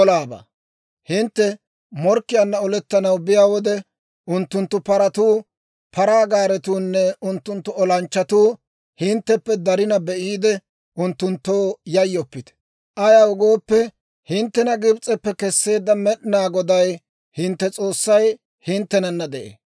«Hintte morkkiyaanna olettanaw biyaa wode, unttunttu paratuu, paraa gaaretuunne unttunttu olanchchatuu hintteppe darina be'iide, unttunttoo yayyoppite; ayaw gooppe, hinttena Gibs'eppe kesseedda Med'inaa Goday hintte S'oossay hinttenana de'ee.